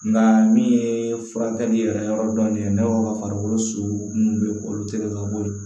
Nka min ye furakɛli yɛrɛ yɔrɔ dɔ ye ne b'aw ka farikolo su bɛɛ k'olu tigɛ ka bɔ ye